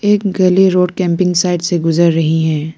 एक गली road camping side से गुजर रही है।